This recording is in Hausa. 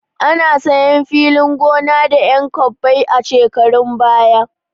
Ana sayan filin gona da 'yan kwabbai a shekarun baya.